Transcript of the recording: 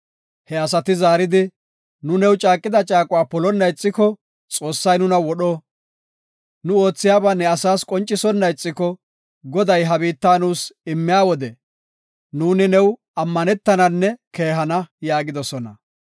He asati zaaridi, “Nu new caaqida caaquwa polonna ixiko, Xoossay nuna wodho. Nu oothiyaba ne asas qoncisonna ixiko, Goday ha biitta nuus immiya wode, nuuni new ammanetananne keehana” yaagidosona.